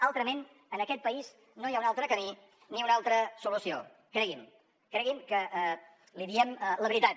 altrament en aquest país no hi ha un altre camí ni una altra solució cregui’m cregui’m que li diem la veritat